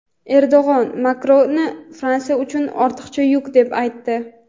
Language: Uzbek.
Erdo‘g‘an Makronni Fransiya uchun "ortiqcha yuk" deb aytdi.